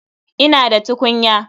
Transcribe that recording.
Ina da tukunya.